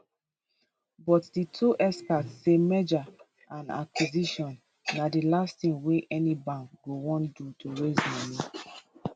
but di two experts say merger and acquisition na di last tin wey any bank go wan do to raise moni